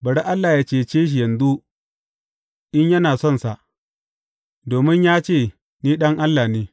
Bari Allah yă cece shi yanzu, in yana sonsa, domin ya ce, Ni Ɗan Allah ne.’